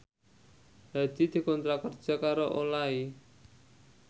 Hadi dikontrak kerja karo Olay